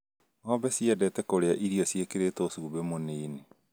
Ng'ombe ciendete kũrĩa irio ciĩkĩrĩtwo cumbĩ mũnini